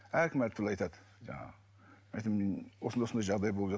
әркім әртүрлі айтады жаңағы мен айтамын осындай осындай жағдай болып